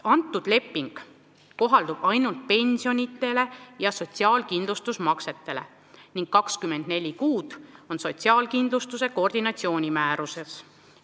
See leping kohaldub ainult pensionitele ja sotsiaalkindlustusmaksetele ning 24 kuud on ette nähtud sotsiaalkindlustuse koordinatsiooni määruses.